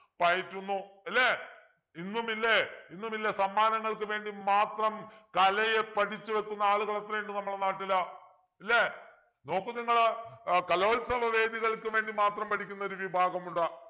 പയറ്റുന്നു അല്ലേ ഇന്നും ഇല്ലേ ഇന്നുമില്ലേ സമ്മാനങ്ങൾക്ക് വേണ്ടി മാത്രം കലയെ പഠിച്ചു വെക്കുന്ന ആളുകൾ എത്രയുണ്ട് നമ്മുടെ നാട്ടില് ഇല്ലേ നോക്കു നിങ്ങള് ഏർ കലോത്സവ വേദികൾക്ക് വേണ്ടി മാത്രം പടിക്കുന്നൊരു വിഭാഗമുണ്ട്